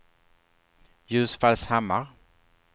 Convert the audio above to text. Ljusfallshammar